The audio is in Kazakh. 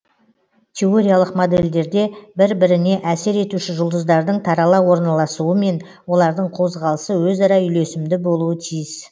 теориялық модельдерде бір біріне әсер етуші жұлдыздардың тарала орналасуы мен олардың қозғалысы өзара үйлесімді болуы тиіс